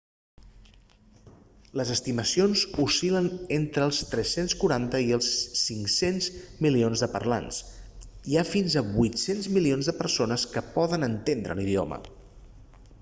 les estimacions oscil·len entre els 340 i els 500 milions de parlants i hi ha fins a 800 milions de persones que poden entendre l'idioma